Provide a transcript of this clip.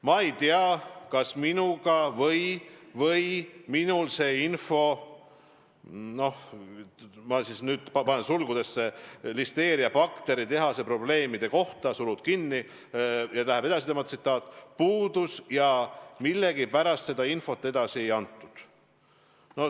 Mina ei tea, kas minuga või minul see info puudus ja millegipärast seda infot edasi ei antud.